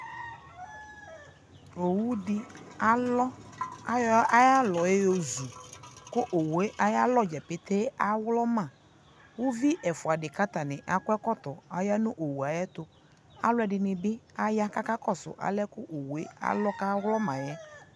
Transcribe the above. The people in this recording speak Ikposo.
ɔwʋ di alɔ, ayɔ ayi alɔ yɔzʋ, ɔwʋɛ aya alɔ gya pɛtɛɛ awlɔma kʋ ʋvi ɛfʋa di kʋ aya ɛkɔtɔ ayanʋ ɔwʋɛ ayɛtʋ, kʋ alʋɛdini bi aya kʋ akakɔsʋ alɛnɛ ɔwʋɛ awlɔmaɛ